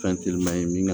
Fɛn teliman ye min